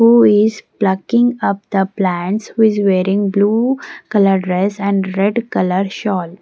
who is plucking up the plants is wearing blue colour dress and red colour shawl.